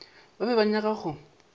ba be ba nyaka go